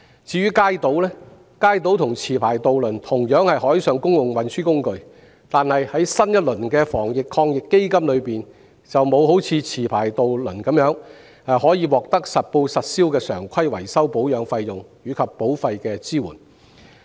至於街渡，雖然與持牌渡輪同樣是海上公共運輸工具，但在新一輪防疫抗疫基金中，不能享有持牌渡輪的優惠，即實報實銷的常規維修保養費及保費的支援。